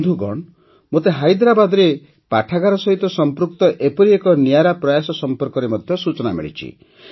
ବନ୍ଧୁଗଣ ମୋତେ ହାଇଦରାବାଦରେ ପାଠାଗାର ସହିତ ସଂପୃକ୍ତ ଏପରି ଏକ ନିଆରା ପ୍ରୟାସ ସମ୍ପର୍କରେ ମଧ୍ୟ ସୂଚନା ମିଳିଛି